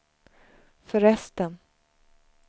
förresten